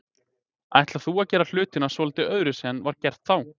Ætlar þú að gera hlutina svolítið öðruvísi en var gert þá?